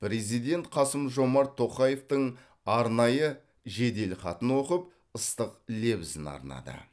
президент қасым жомарт тоқаевтың арнайы жеделхатын оқып ыстық лебізін арнады